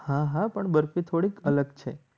હા હા પણ બરફી થોડી અલગ છે.